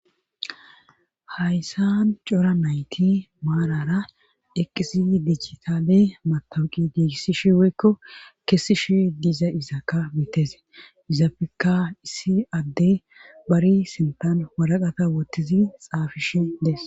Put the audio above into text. Hayssan cora nayti maarara eqqisi dijitale matawuqi diigissishi woykko kessishi diza izakka mitese izappekka issi adde bari sintan waraqata wottizi xaafishe des